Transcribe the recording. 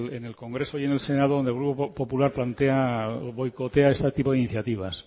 es en el congreso y en el senado donde el grupo popular plantea boicotea este tipo de iniciativas